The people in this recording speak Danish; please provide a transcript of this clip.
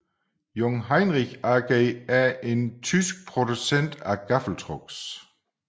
Jungheinrich AG er en tysk producent af gaffeltrucks